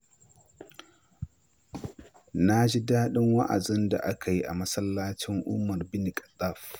Na ji dadin wa’azin da aka yi a masallacin Umar Bin Khattab.